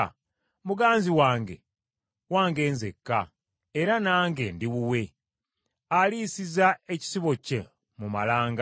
Muganzi wange, wange nzekka, era nange ndi wuwe; aliisiza ekisibo kye mu malanga,